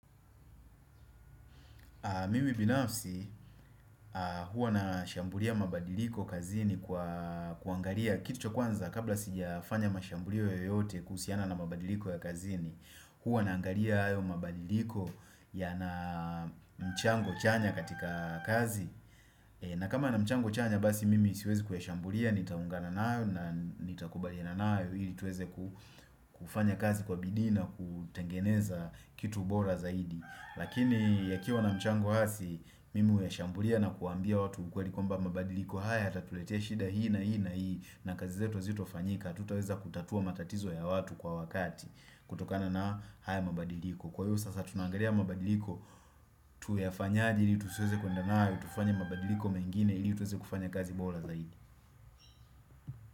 Mimi binafsi huwa na shambulia mabadiliko kazini kwa kuangalia kitu cha kwanza kabla sijafanya mashambulio yoyote kuhusiana na mabadiliko ya kazini Huwa naangalia hayo mabadiliko yana mchango chanya katika kazi na kama ya mchango chanya basi mimi siwezi kuyashambulia, nitaungana nayo na nitakubaliana nayo ili tuweze ku kufanya kazi kwa bidii na kutengeneza kitu bora zaidi Lakini yakiwa na mchango hasi Mimi huyashambulia na kuambia watu ukweli kwamba mabadiliko haya yatatuletea shida hii na hii na kazi zetu zito fanyika Tutaweza kutatua matatizo ya watu kwa wakati kutokana na haya mabadiliko Kwa iyo sasa tunaangalia mabadiliko Tuyafanyaje ili tuseweze kuendanayo tufanye mabadiliko mengine ili tuweze kufanya kazi bora zaidi.